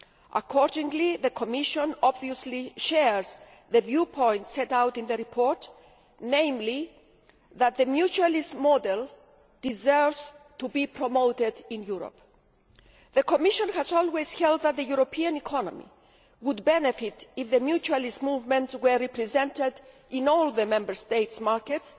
Accordingly, the Commission obviously shares the viewpoint set out in the report, namely that the mutualist model deserves to be promoted in Europe. The Commission has always held that the European economy would benefit if the mutualist movement were represented in all the Member States' markets,